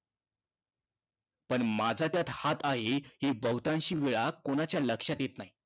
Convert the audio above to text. पण माझा त्यात हात आहे, हे बहुतांशवेळा कोणाच्या लक्षात येत नाही.